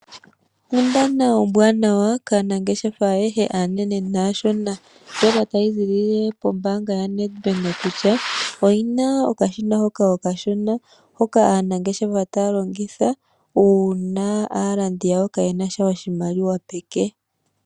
Onkundana ombwaanawa kaanangeshefa aanene naashona ndjoka tayi ziilile kombaanga yoNedbank kutya oyina okashina okashona hono taka vulu okulongithwa kaalandi yawo uuna kaayena oshimaliwa peke.